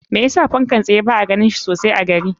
Me yasa fankan tsaye ba a ganin shi sosai a gari?